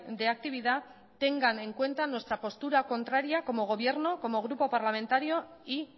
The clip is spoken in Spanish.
de actividad tengan en cuenta nuestra postura contraria como gobierno como grupo parlamentario y